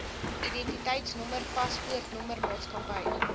identiteitnommer paspoortnommer maatskappy